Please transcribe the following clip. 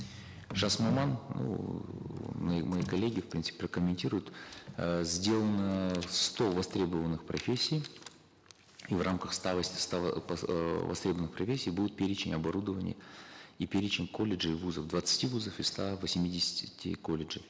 жас маман ну мы мои коллеги в принципе прокомментируют э сделано сто востребованных профессий и в рамках ста ста э востребованных профессий будет перечень оборудования и перечень колледжей вузов двадцати вузов и ста восьмидесяти колледжей